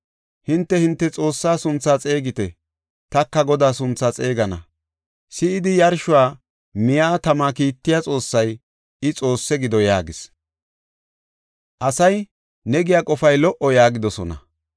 Hinte, hinte xoossaa sunthaa xeegite; taka Godaa sunthaa xeegana. Si7idi yarshuwa miya tama kiittiya xoossay, i, Xoosse gido” yaagis. Asay, “Ne giya qofay lo77o” yaagidosona.